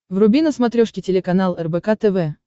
вруби на смотрешке телеканал рбк тв